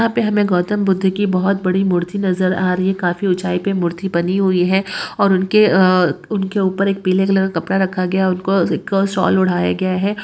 इहा पे हामे गौतम बुद्ध कि वहत वड़ि मूर्ति नजर आ रही है। काफि उचाइ पे मूर्ति बानी हुए है। और उनके अ-अ उनके ऊपर एक पीले कलर का कॉपड़ा राखा गआ उनको उनको शोल उड़ाआ गेआ है।